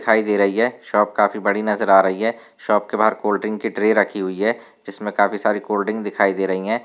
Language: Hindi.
दिखाई दे रही है शॉप काफी बड़ी नज़र आ रही है शॉप के बाहर कोल्ड ड्रिंक की ट्रे रखी हुई है जिसमे काफी सारी कोल्ड ड्रिंक दिखाई दे रहे है।